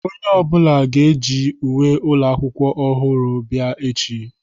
Onye ọbụla ga-eji uwe ụlọ akwụkwọ ọhụrụ bịa echi.